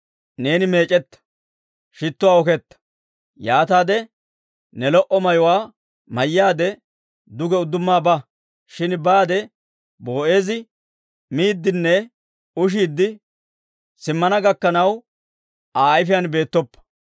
Neeni meec'etta; shittuwaa oketta. Yaataade ne lo"o mayuwaa mayyaade, duge udduma ba; shin baade Boo'eezi miiddinne ushidde simmana gakkanaw, Aa ayfiyaan beettoppa.